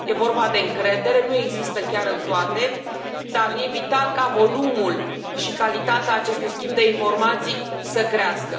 E vorba de încredere, nu există chiar în toate, dar e vital ca volumul și calitatea acestui schimb de informații să crească.